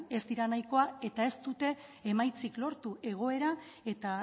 ez dira nahikoa eta ez dute emaitzik lortu egoera eta